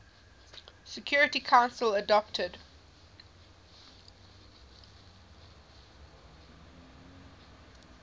security council adopted